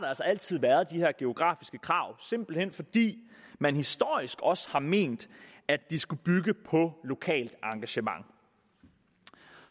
altid været de her geografiske krav simpelt hen fordi man historisk også har ment at de skulle bygge på lokalt engagement